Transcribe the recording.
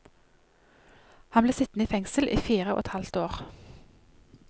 Han ble sittende i fengsel i fire og et halvt år.